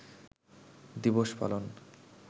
দিবস পালন